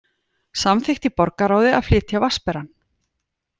Samþykkt í borgarráði að flytja Vatnsberann